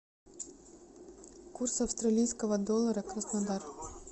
курс австралийского доллара краснодар